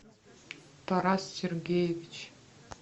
тарас сергеевич